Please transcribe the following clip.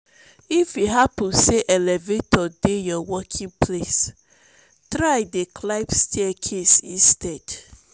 if e hapun say elevator dey yur working place try dey climb staircase instead